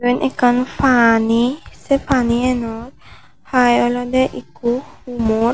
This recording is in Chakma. eben ekkan pani sey panieno hai olodey ikko humor.